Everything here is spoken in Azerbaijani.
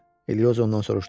Elioza ondan soruşdu.